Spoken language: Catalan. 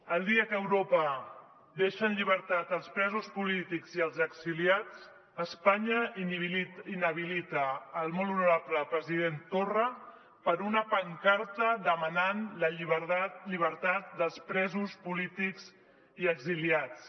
el dia que europa deixa en llibertat els presos polítics i els exiliats espanya inhabilita el molt honorable president torra per una pancarta demanant la llibertat dels presos polítics i exiliats